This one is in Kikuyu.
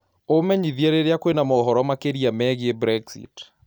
umenyĩthĩe rĩrĩa kwĩna mohoro makĩrĩa meegĩe brexit